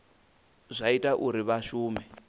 zwa ita uri vha shume